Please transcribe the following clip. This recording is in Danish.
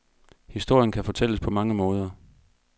Historien kan fortælles på mange måder.